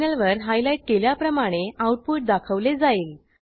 टर्मिनलवर हायलाईट केल्याप्रमाणे आऊटपुट दाखवले जाईल